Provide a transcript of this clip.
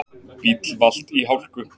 Bíll valt í hálku